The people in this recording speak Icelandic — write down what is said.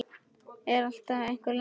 Það er alltaf einhver lasin.